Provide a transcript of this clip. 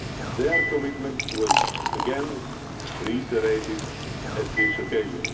Schengen. Their commitment was again reiterated on this